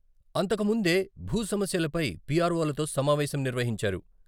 అంతకుముందే భూ సమస్యలపై వీఆర్వోలతో సమావేశం నిర్వహించారు.